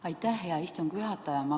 Aitäh, hea istungi juhataja!